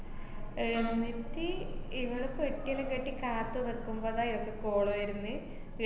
ഏർ എന്നിട്ട് ഇവള് പെട്ടിയെല്ലാ കെട്ടി കാത്തു നിക്കുമ്പളാ ഇവക്ക് call വര്ന്ന്,